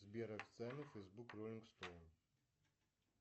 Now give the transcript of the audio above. сбер официальный фэйсбук роллинг стоун